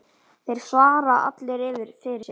Þeir svara allir fyrir sig.